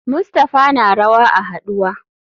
Mustapha na rawa a haduwa.